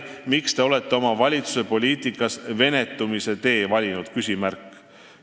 Miks Te olete oma valitsuse poliitikas venetumise tee valinud?